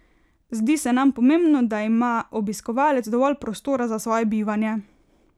Zdi se nam pomembno, da ima obiskovalec dovolj prostora za svoje bivanje.